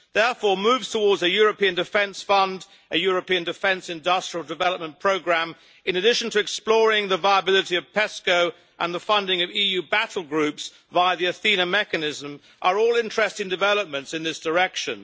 Therefore, moves towards a European defence fund, a European defence industrial development programme, in addition to exploring the viability of permanent structured cooperation and the funding of EU battle groups via the Athena mechanism are all interesting developments in this direction.